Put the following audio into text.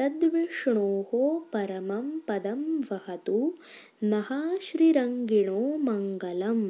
तद्विष्णोः परमं पदं वहतु नः श्रीरङ्गिणो मङ्गलम्